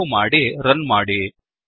save ಮಾಡಿ run ಮಾಡಿ